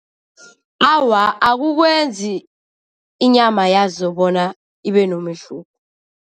Awa, akukwenzi inyama yazo bona ibenomehluko.